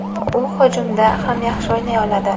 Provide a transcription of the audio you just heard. U hujumda ham yaxshi o‘ynay oladi.